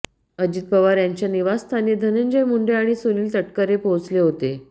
अजित पवार यांच्या निवासस्थानी धनंजय मुंडे आणि सुनील तटकरे पोहोचले होते